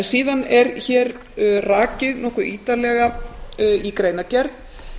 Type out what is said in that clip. síðan er hér rakin nokkuð ítarlega í greinargerð